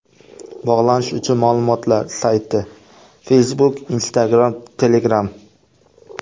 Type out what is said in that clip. Bog‘lanish uchun ma’lumotlar: Sayti: Facebook Instagram Telegram .